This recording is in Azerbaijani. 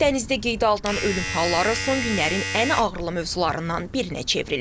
Dənizdə qeydə alınan ölüm halları son günlərin ən ağrılı mövzularından birinə çevrilib.